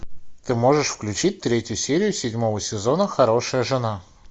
ты можешь включить третью серию седьмого сезона хорошая жена